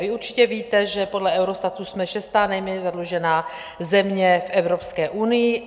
Vy určitě víte, že podle Eurostatu jsme šestá nejméně zadlužená země v Evropské unii.